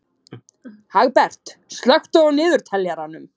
Hagbert, slökktu á niðurteljaranum.